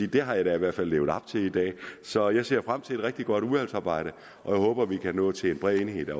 at det har jeg da i hvert fald levet op til i dag så jeg ser frem til et rigtig godt udvalgsarbejde og jeg håber at vi kan nå til en bred enighed